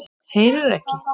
Heyrir ekki.